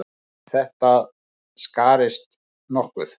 En þetta skarist nokkuð.